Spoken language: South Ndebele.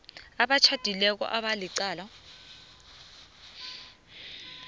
abatjhadileko aba licala